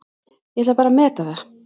Ég ætla bara að meta það.